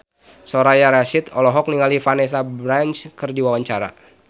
Soraya Rasyid olohok ningali Vanessa Branch keur diwawancara